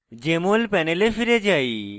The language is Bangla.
jmol panel ফিরে যাই